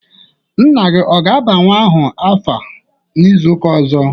Nna gị ọ ga aba nwa ahụ afa n'izuka ọzọ?